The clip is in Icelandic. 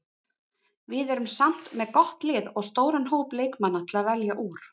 Við erum samt með gott lið og stóran hóp leikmanna til að velja úr.